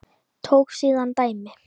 Tók síðan dæmi: